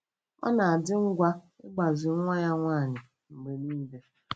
Ọ na-adị ngwa ịgbazi nwa ya nwanyị mgbe niile.